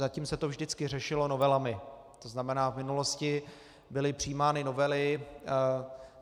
Zatím se to vždycky řešilo novelami, to znamená v minulosti byly přijímány novely.